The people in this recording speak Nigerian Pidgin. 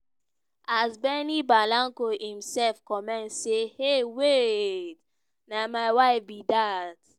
as benny blanco imsef comment say "hey wait na my wife be dat."